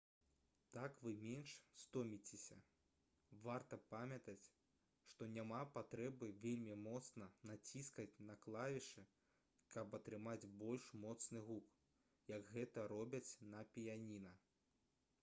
так вы менш стоміцеся варта памятаць што няма патрэбы вельмі моцна націскаць на клавішы каб атрымаць больш моцны гук як гэта робяць на піяніна